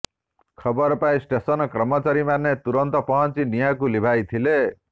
ଖବର ପାଇ ଷ୍ଟେସନ କର୍ମଚାରୀ ମାନେ ତୁରନ୍ତ ପହଞ୍ଚି ନିଆଁକୁ ଲିଭାଇଥିଲେ